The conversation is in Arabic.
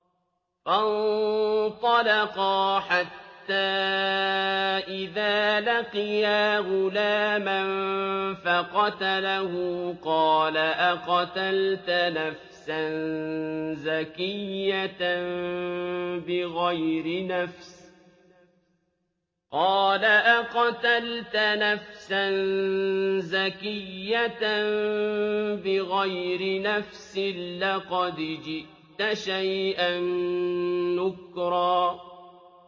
فَانطَلَقَا حَتَّىٰ إِذَا لَقِيَا غُلَامًا فَقَتَلَهُ قَالَ أَقَتَلْتَ نَفْسًا زَكِيَّةً بِغَيْرِ نَفْسٍ لَّقَدْ جِئْتَ شَيْئًا نُّكْرًا